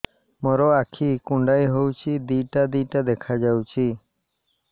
ମୋର ଆଖି କୁଣ୍ଡାଇ ହଉଛି ଦିଇଟା ଦିଇଟା ଦେଖା ଯାଉଛି